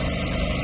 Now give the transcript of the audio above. Dayaq boşalır.